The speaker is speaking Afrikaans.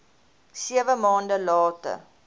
sewe maande later